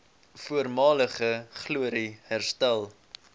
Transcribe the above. voormalige glorie herstel